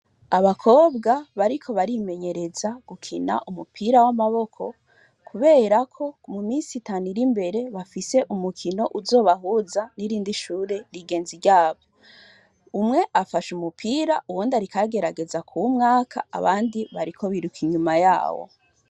Abakobwa bariko barimenyereza gukina umupira wamaboko kubera ko muminsi itanu irimbere bafise umukino uzobahuza nirindi shure rigenzi ryawo umwe afashe umupira uwundi ariko agerageza kuwumwaka abandi bariko biruka inyuma yabo